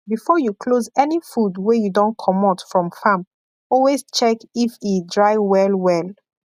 before you close any food wey you don comot from farm always check if e dry well well